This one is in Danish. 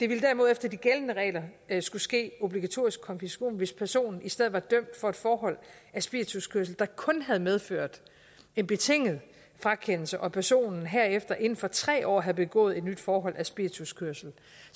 ville derimod efter de gældende regler skulle ske obligatorisk konfiskation hvis personen i stedet var dømt for et forhold af spirituskørsel der kun havde medført en betinget frakendelse og personen herefter inden for tre år havde begået et nyt forhold af spirituskørsel